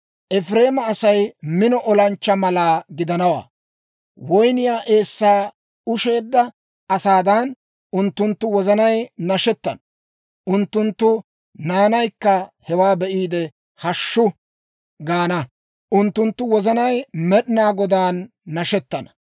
Efireemaa Asay mino olanchchaa mala gidanawaa; woyniyaa eessaa usheedda asaadan, unttunttu wozanay nashettana. Unttunttu naanaykka hewaa be'iide, hashshu gaana; unttunttu wozanay Med'inaa Godaan nashettana.